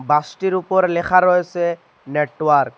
বাসটির উপর লেখা রয়েসে নেটওয়ার্ক ।